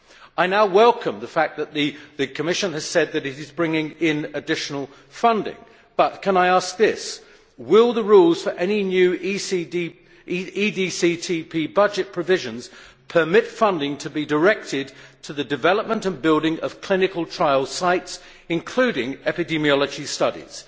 I now welcome the fact that the Commission has said that it is bringing in additional funding, but will the rules for any new EDCTP budget provisions permit funding to be directed to the development and building of clinical trial sites, including epidemiology studies?